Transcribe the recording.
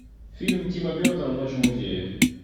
фильм тима бертона ночь в музее